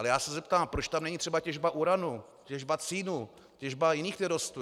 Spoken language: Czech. Ale já se zeptám, proč tam není třeba těžba uranu, těžba cínu, těžba jiných nerostů.